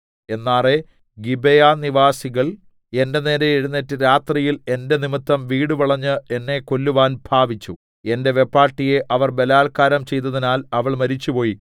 എന്നാറെ ഗിബെയാനിവാസികൾ എന്റെ നേരെ എഴുന്നേറ്റ് രാത്രിയിൽ എന്റെ നിമിത്തം വീടുവളഞ്ഞ് എന്നെ കൊല്ലുവാൻ ഭാവിച്ചു എന്റെ വെപ്പാട്ടിയെ അവർ ബലാല്ക്കാരം ചെയ്തതിനാൽ അവൾ മരിച്ചുപോയി